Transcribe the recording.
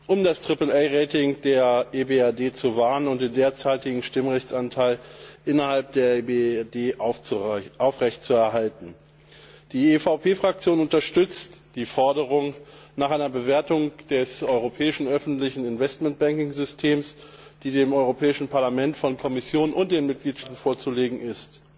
um das AAA Rating der EBRD zu wahren und den derzeitigen Stimmrechtsanteil innerhalb der EBRD aufrecht zu erhalten. Die EVP Fraktion unterstützt die Forderung nach einer Bewertung des europäischen öffentlichen Investmentbanking Systems, die dem Europäischen Parlament von Kommission und den Mitgliedstaaten vorzulegen ist.